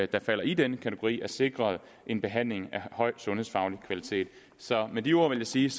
der falder i den kategori er sikret en behandling af høj sundhedsfaglig kvalitet så med de ord vil jeg sige